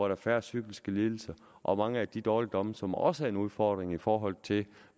er færre psykiske lidelser og mange af de dårligdomme som også er en udfordring i forhold til